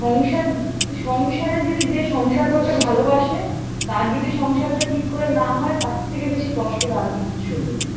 সংসার সংসারে যদি যে সংসার করতে ভালোবাসে তার যদি সংসারটা ঠিক করে না হয়ে তার থেকে বেশি কষ্টের আর কিচ্ছু নেই